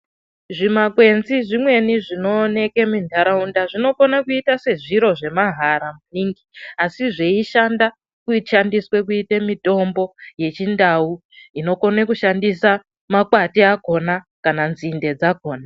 Zvimakwenzi zvimweni zvinooneka munharaunda zvinokona kuita sezviro zvemahara maningi asi zveishanda zveishandiswa kuita mutombo yechindau unokona kushandisa makwati akona kana nzinde dzakona .